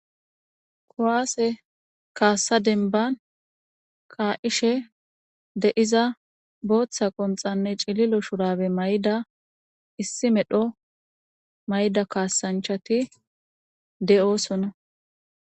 kowaase kaassa denban kaa7ishe deiza booththa qonxanne cililo shurabe may7da issi medho may7da kaasanchati de7osona